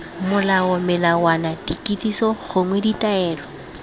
molao melawana dikitsiso gongwe ditaelo